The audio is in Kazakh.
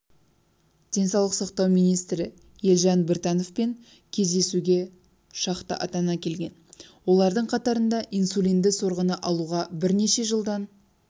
денсаулық сақтау министрі елжан біртановпен кездесуге шақты ата-ана келген олардың қатарында инсулинді сорғыны алуға бернеше жылдан